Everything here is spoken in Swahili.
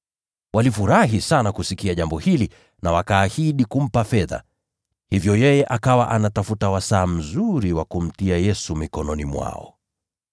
Walifurahi sana kusikia jambo hili na wakaahidi kumpa fedha. Hivyo yeye akawa anatafuta wakati uliofaa wa kumsaliti.